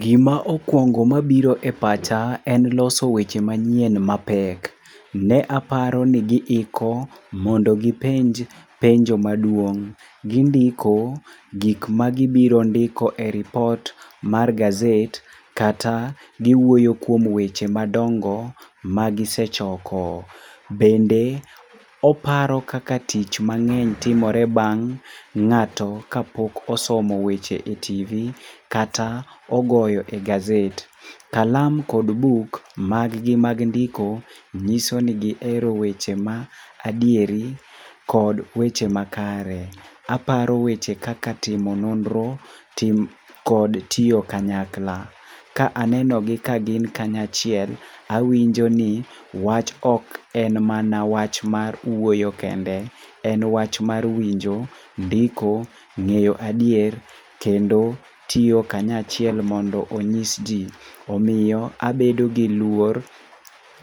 Gima okwongo ma biro e pacha en loso weche manyien mapek. Ne aparo ni gi iko mondo gipenj penjo maduong'. Gindiko gik ma gibiro ndiko e ripot mar gazet kata, giwuoyo kuom weche madongo ma gisechoko. Bende oparo kaka tich mangény timore bang' ngáto ka pok osomo wach e TV kata ogoyo e gazet. Kalam kod buk maggi mag ndiko nyiso ni gihero weche ma adieri kod weche makare. Aparo weche kaka timo nonro kod tiyo kanyaka. Ka anenogi ka gin kanya achiel, awinjo ni wach ok en mana wach mar wuoyo kende. En wach mar winjo, ndiko, ngéyo adier, kendo tiyo kanyo achiel mondo onyis ji. Omiyo abedogi luor,